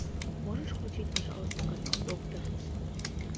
можешь включить пожалуйста канал доктор